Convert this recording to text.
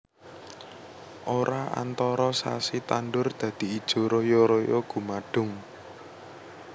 Ora antara sasi tandur dadi ijo royo royo gumadhung